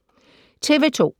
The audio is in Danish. TV 2